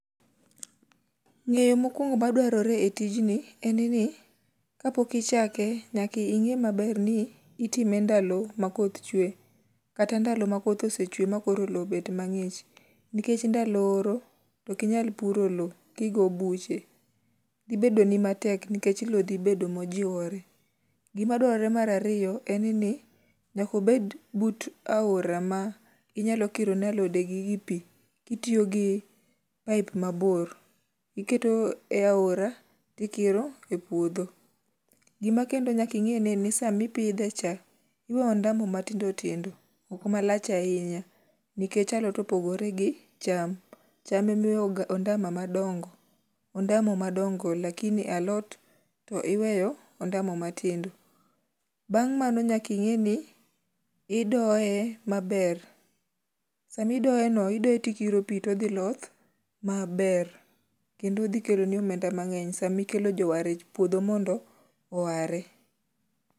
ng'eyo mokuongo madwarore e tijni en ni kapok ichake, nyaka inger maber ni itime ndalo makoth chue kata ndalo makoth osechue makoro lo obet mangich nikech ndalo oro okinyal puro lo kigo buche, dhi bedo ni matek nikech lo dhi bedo mojiwore, gima dwarore mar ariyo en ni ,nyaka obed but aora ma inyalo kiro ne alode gi gi pi kitiyo gi pipe mabor, iketo e aora tikiro e puodho, gima kendo nyaka inge ni sama ipidhe cha iwe ondamo matindo tindo oka malach ahiny nikech alot opogore gi cham, cham ema iwe ondamo madongo ,ondamo madongo lakini alot iwe ondamo matindo, bang' mano nyaka ing'e ni idoye maber ,sama idoye no ,idoye tikiro pi to dhi loth maber kendo odhi keloni omenda mang'eny sama ikelo jowar e puotho mondo oware